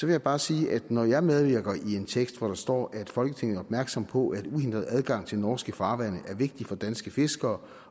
jeg bare sige at når jeg medvirker i en tekst hvor der står at folketinget er opmærksom på at uhindret adgang til norske farvande er vigtig for danske fiskere